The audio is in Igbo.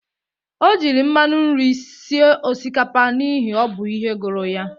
O jiri mmanụ nri sie osikapa n'ihi o bụ ihe gụrụ ya